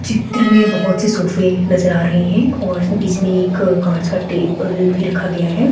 चित्र में बहोत से सोफे नज़र आ रहे हैं और बीच में एक कांच का टेबल भी रखा गया है।